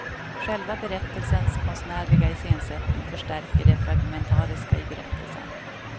Själva berättelsens konstnärliga iscensättning förstärker det fragmentariska i berättelsen.